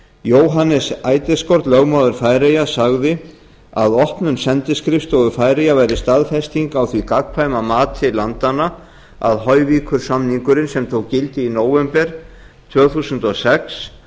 í færeyjum jóannes eidesgaard lögmaður færeyja sagði að opnun sendiskrifstofu færeyja væri staðfesting á því gagnkvæma mati landanna að hoyvíkursamningurinn sem tók gildi í nóvember tvö þúsund og sex